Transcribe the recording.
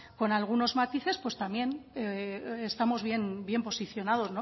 con algunos matices pues también estamos bien posicionados